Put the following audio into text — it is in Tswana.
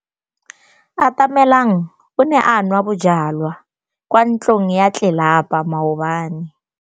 Atamelang o ne a nwa bojwala kwa ntlong ya tlelapa maobane.